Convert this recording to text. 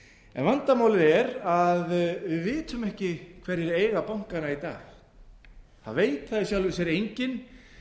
en vandamálið er að við vitum ekki hverjir eiga bankana í dag það veit það í sjálfu sér enginn